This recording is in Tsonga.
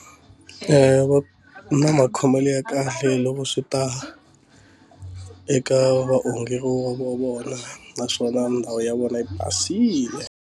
Va na makhomelo ya kahle loko swi ta eka vaongi vo vo vona naswona ndhawu ya vona yi basile.